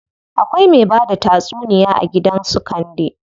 Akwai me bada tatsuniya a gidan su Kande.